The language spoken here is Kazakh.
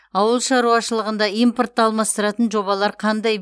ауыл шаруашылығында импортты алмастыратын жобалар қандай